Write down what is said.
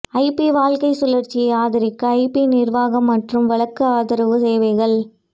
IP வாழ்க்கை சுழற்சியை ஆதரிக்க ஐபி நிர்வாகம் மற்றும் வழக்கு ஆதரவு சேவைகள்